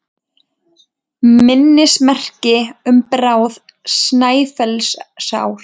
Minnismerki um Bárð Snæfellsás.